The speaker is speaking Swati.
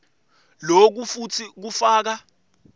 loku futsi kufaka